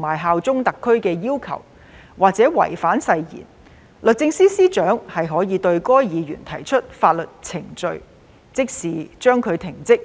和效忠特區的要求，或是違反誓言，律政司司長可對該議員提出法律程序，即時將其停職。